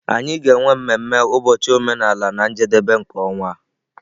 Anyị ga-enwe mmemme ụbọchị omenala na njedebe nke ọnwa a.